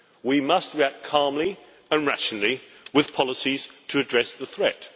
We must react calmly and rationally with policies to address the threat.